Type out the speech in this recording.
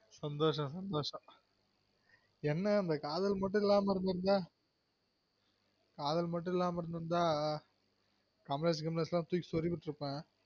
சந்தோசம் சந்தோசம் என்ன இந்த காதல் மட்டும் இல்லாம இருந்திருந்தா காதல் மட்டும் இல்லாம இருந்திருந்தா ரமேஷ் கிமேஷ் எல்லான் தூக்கி சொருவி விற்றுப்பன்